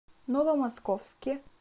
новомосковске